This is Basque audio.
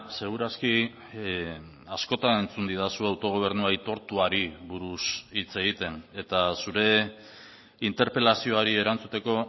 segur aski askotan entzun didazu autogobernu aitortuari buruz hitz egiten eta zure interpelazioari erantzuteko